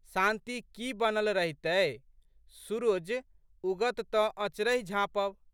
शांति की बनल रहितए। सुरुज उगत तऽ अँचरहि झाँपब?